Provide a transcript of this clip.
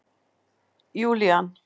Júlían